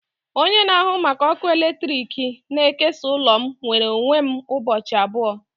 Onye na-ahụ maka ọkụ eletrik na-ekesa ụlọ m nwere onwe m ụbọchị abụọ